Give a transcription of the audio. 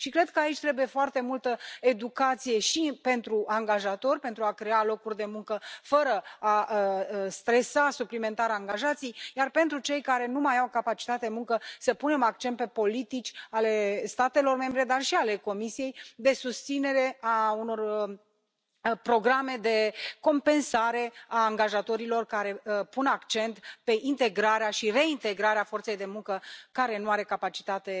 Cred că aici trebuie foarte multă educație și pentru angajatori, pentru a crea locuri de muncă fără a stresa suplimentar angajații, iar pentru cei care nu mai au capacitate de muncă să punem accent pe politici ale statelor membre, dar și ale Comisiei, de susținere a unor programe de compensare a angajatorilor care pun accent pe integrarea și reintegrarea forței de muncă care nu are o capacitate